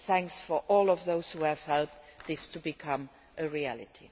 Thanks to all those who have helped this to become a reality.